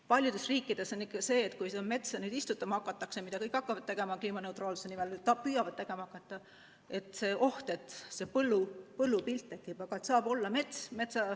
Paljudes riikides on nii, et kui metsa istutama hakatakse – ja seda kõik hakkavad tegema või püüavad tegema hakata keemianeutraalsuse nimel – siis on see oht, et tekib põllupilt, aga peaks olema mets.